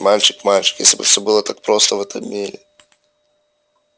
мальчик мальчик если бы все было так просто в этом мире